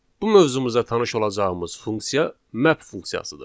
Bu mövzumuza tanış olacağımız funksiya map funksiyasıdır.